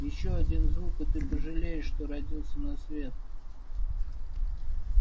ещё один звук и ты пожалеешь что родился на свет